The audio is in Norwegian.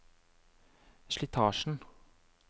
slitasjen